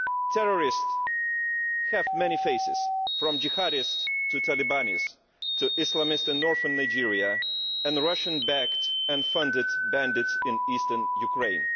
Terrorists have many faces, from jihadists to Talibanis, to Islamists in Northern Nigeria, and the Russian backed and funded bandits in eastern Ukraine.